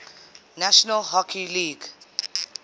national hockey league